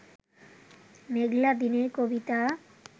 মেঘলা দিনের কবিতা